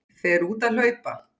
Fer út að hlaupa.